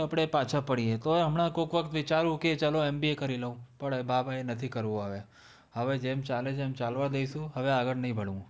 આપણે પાછા પડીએ, તોય હમણાં કોક વખત વિચારું કે ચલો MBA કરી લઉં! પણ નથી કરવું હવે, હવે જેમ ચાલે છે એમ ચાલવા દઈશું. હવે આગળ નહીં ભણવું.